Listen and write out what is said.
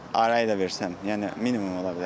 Arayı da versəm, yəni minimum ola bilər.